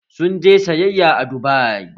Sun je sayayya a Dubai